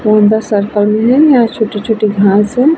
है यहाँ छोटे-छोटे घास है।